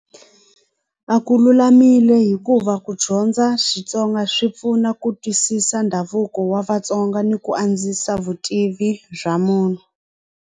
A ku lulamile hikuva ku dyondza Xitsonga swi pfuna ku twisisa ndhavuko wa Vatsonga ni ku andzisa vutivi bya munhu.